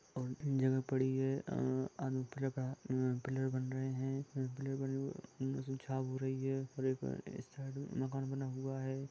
बहुत जगह पड़ी है ह अनेक पारकर की पिलर बन रहे है माकन बहा हुआ है।